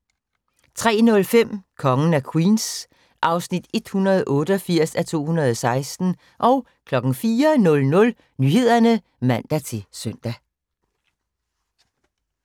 03:05: Kongen af Queens (188:216) 04:00: Nyhederne (man-søn)